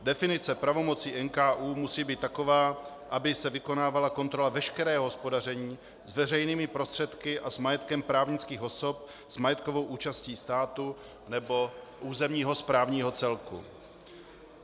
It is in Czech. Definice pravomocí NKÚ musí být taková, aby se vykonávala kontrola veškerého hospodaření s veřejnými prostředky a s majetkem právnických osob s majetkovou účastí státu nebo územního správního celku.